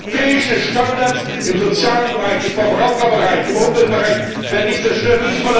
Europäische Standards im sozialen Bereich, im Verbraucherbereich, im Umweltbereich werden nicht zerstört!